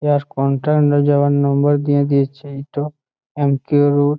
এইহার কনট্রান যাওয়ার নম্বর দিয়ে দিয়েছে এম.কিউ রুট ।